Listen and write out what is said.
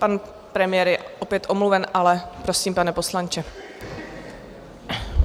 Pan premiér je opět omluven, ale prosím, pane poslanče.